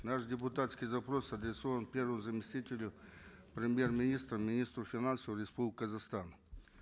наш депутатский запрос адресован первому заместителю премьер министра министру финансов республики казахстан